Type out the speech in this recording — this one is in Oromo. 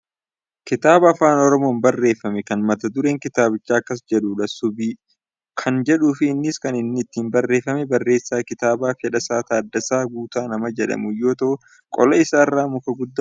kitaaba afaan oromoon barreeffame kan mata dureen kitaabichaa akkas jedhudha." subii" kan jedhuufi innis kan inni ittiin barreeffame barreessaa kitaabaa Fedhasaa Taaddasaa Guutaa nama jedhamuun yoo ta'u qola isaa irraa muka guddaa Odaa kan qabudha.